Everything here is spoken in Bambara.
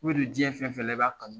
diɲɛ fɛn fɛn la i b'a kanu.